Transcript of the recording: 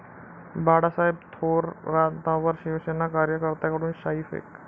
Balasaheb थोरातांवर Shiv Sena कार्यकर्त्याकडून शाईफेक